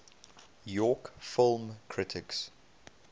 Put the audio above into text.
york film critics